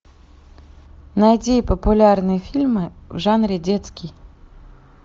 найди популярные фильмы в жанре детский